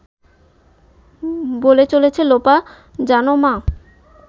বলে চলেছে লোপা… জানো মা